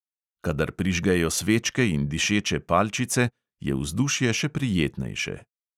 Kadar prižgejo svečke in dišeče palčice, je vzdušje še prijetnejše.